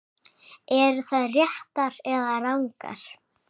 Eru þær réttar eða rangar?